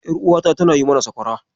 Ƴaruwata tana yi mana sakwara.